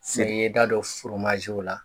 Sisan i ye i da don la